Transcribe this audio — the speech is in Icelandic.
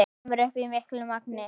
Kemur upp í miklu magni.